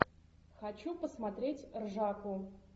хочу посмотреть ржаку